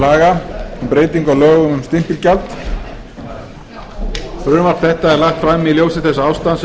laga um breyting á lögum um stimpilgjald frumvarpið er lagt fram í ljósi þess ástands